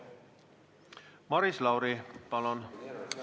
Maris Lauri, palun!